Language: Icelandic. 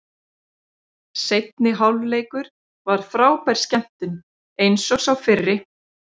Seinni hálfleikur var frábær skemmtun eins og sá fyrri.